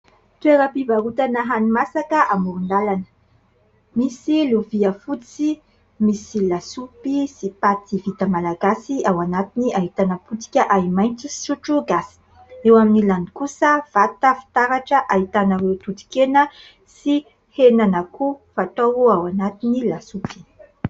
Toeram-pivarotana hani-masaka amoron-dalana : misy lovia fotsy misy lasopy sy paty vita malagasy ao anatiny, ahitana potika ahi-maitso sy sotro gasy ; eo amin'ny ilany kosa, vata fitaratra ahitana ireo toton-kena sy henan'akoho fatao ao anatin'ny lasopy.